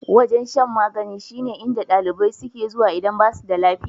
Wajen shan magani shine inda ɗalibai suke zuwa idan basu da lafiya.